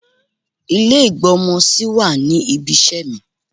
Ilé ìgb'ọ́mọ sí wà ní ibi iṣẹ́ mi.